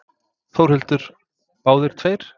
Þórhildur: Báðir tveir?